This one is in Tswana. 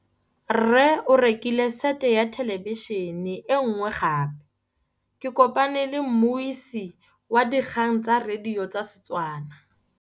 Rre o rekile sete ya thêlêbišênê e nngwe gape. Ke kopane mmuisi w dikgang tsa radio tsa Setswana.